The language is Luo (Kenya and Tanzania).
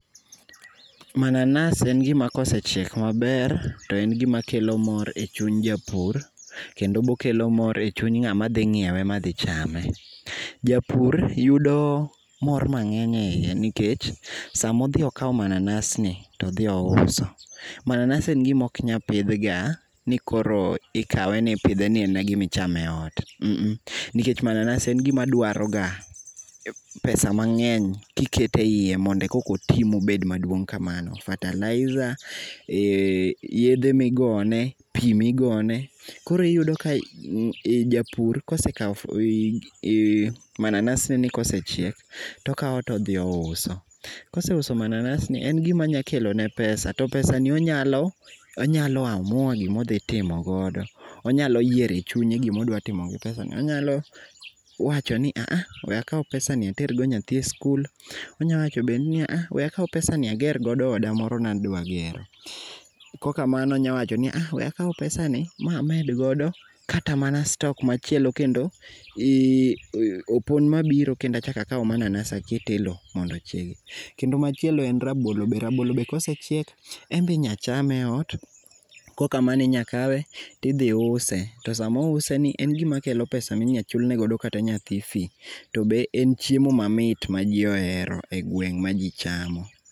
Mananas en gima kosechiek maber to en gimakelo mor echuny japur. Kendo bo okelo mor echung ng'ama dhi nyiewe madhi chame. Japur yudo mor mang'eny eiye nikech sama odhi okawo manansgi to odhi ouso, mananas en gima ok pidh ganikoro ikawe ni pidhe nikoro en mnagima ichamo eot a a. Nikech mananas en gima dwaroga pesa mang'eny kiketo eiye mondo kokoti mobed maduong' kamano, fertilizer, eeh yedhe migone, pi migone, koro iyudo ka japur kosekawo mananas negi kosechiek to okawo to odhi ouso. Ka oseuso mananas gi, en gima nyalo kelone pesa to pesani onyalo onyalo amua gima odhi timo godo. Onyalo yiero e chunye gima odwa timo gi pesani. Onyalo wacho ni a a, we akaw pesani ater godo nyathi e sikul, onyalo wacho ni we akaw pesani ager godo oda moro ne adwa gero. Ka ok kamano onyalo wacho ni a a, we akaw pesani ma med godo kata mana stock machielo kendo, opon mabiro kendo achak akaw mananas aket e lowo omondo ochiegi. Kendo machielo en rabolo, rabolo bende ka osechiek, en be inyalo chame ei ot. Ka ok kamano inyalo kawe to idhi use to sama ouseni en gima kelo pesa minyalo chulnegodo kata nyathi fis. To be en chiemo mamit maji ohero e gweng' maji chamo.